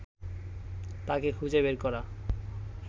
তাকে খুঁজে বের করা